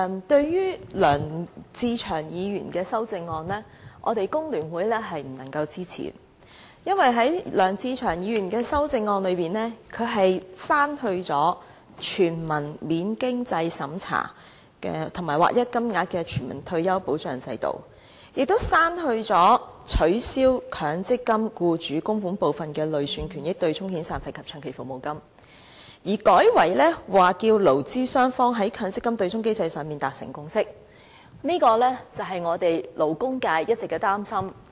對於梁志祥議員的修正案，工聯會是不能夠支持的，因為在梁志祥議員的修正案中，他刪去了"全民免經濟審查及劃一金額的全民退休保障制度"，亦刪去了"取消以強積金僱主供款部分的累算權益對沖遣散費及長期服務金"，改為"促使勞資雙方在強積金對沖機制的問題上達成共識"，這便是勞工界一直的擔心。